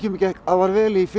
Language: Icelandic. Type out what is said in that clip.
gekk afar vel í